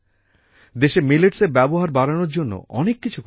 দেশে মিলেটসের ব্যবহার বাড়ানোর জন্য অনেক কিছু করা হচ্ছে